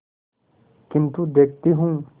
किन्तु देखती हूँ